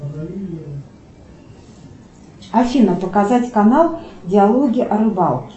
афина показать канал диалоги о рыбалке